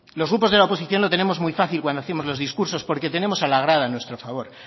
los grupos de la oposición lo tenemos muy fácil cuando hacemos los discursos porque tenemos a la grada de nuestro favor